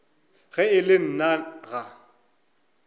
ge e le nna ga